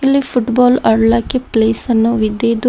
ಇಲ್ಲಿ ಫುಟ್ಬಾಲ್ ಆಡ್ಲಕ್ಕೆ ಪ್ಲೇಸನ್ನು ಇದ್ದು ಇದರ--